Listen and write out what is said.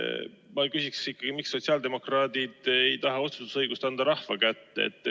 Ma küsiksin ikkagi, et miks sotsiaaldemokraadid ei taha anda otsustusõigust rahva kätte.